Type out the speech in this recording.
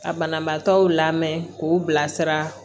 Ka banabaatɔw lamɛn k'u bilasira